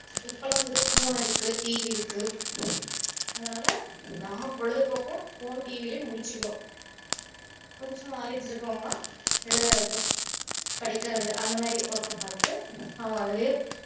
இப்போலாம் வந்துட்டு phone இருக்கு TV இருக்கு அதனால நம்ம பொழுதுபோக்க phone TV லயே முடிச்சுக்குறோம் கொஞ்சம் knowledge இருக்கவங்க எல்லாம்